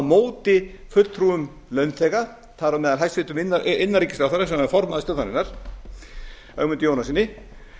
móti fulltrúum launþega þar á meðal hæstvirtur innanríkisráðherra sem var formaður stjórnarinnar ögmundi jónassyni